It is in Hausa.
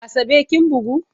Asabe kin bugu?